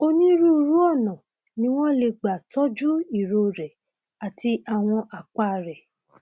onírúurú ọnà ni wọn lè gbà tọjú irorẹ àti àwọn àpá rẹ